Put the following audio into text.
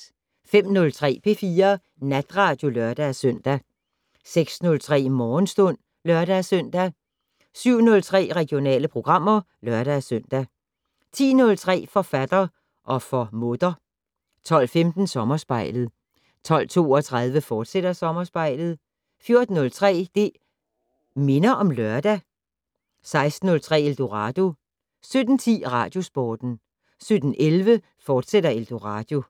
05:03: P4 Natradio (lør-søn) 06:03: Morgenstund (lør-søn) 07:03: Regionale programmer (lør-søn) 10:03: Forfatter - og for mutter 12:15: Sommerspejlet 12:32: Sommerspejlet, fortsat 14:03: Det' Minder om Lørdag 16:03: Eldorado 17:10: Radiosporten 17:11: Eldorado, fortsat